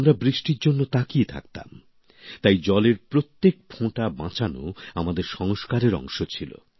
আমরা বৃষ্টির জন্য তাকিয়ে থাকতাম তাই জলের প্রত্যেক ফোঁটা বাঁচানো আমাদের সংস্কারের অংশ ছিল